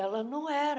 Ela não era,